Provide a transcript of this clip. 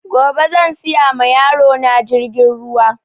Gobe zan siya ma yaro na jirgin ruwa